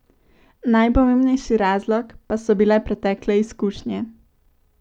Najpomembnejši razlog pa so bile pretekle izkušnje.